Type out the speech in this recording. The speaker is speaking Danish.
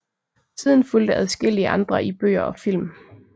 Siden fulgte adskillige andre i bøger og film